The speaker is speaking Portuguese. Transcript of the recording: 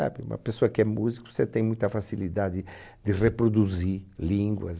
É, para uma pessoa que é músico você tem muita facilidade de reproduzir línguas.